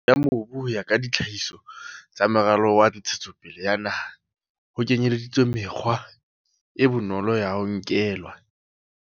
Ya mobu ho ya ka ditlhahiso tsa Moralo wa Ntshetsopele ya Naha, ho kenyeleditswe mekgwa e bonolo ya ho nkelwa.